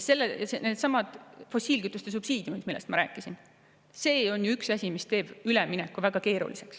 Üks asi, mis teeb ülemineku väga keeruliseks, on ju needsamad fossiilkütuste subsiidiumid, millest ma rääkisin.